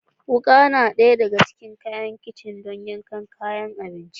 Wuka na ɗaya daga cikin kayan kicin don yankan kayan abinci